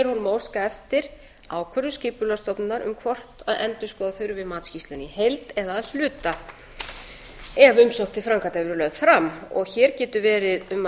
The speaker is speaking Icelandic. að óska eftir ákvörðun skipulagsstofnunar um hvort endurskoða þurfi matsskýrsluna í heild eða að hluta ef umsókn til framkvæmda hefur verið lögð fram hér getur verið um